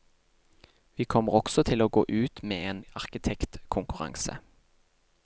Vi kommer også til å gå ut med en arkitektkonkurranse.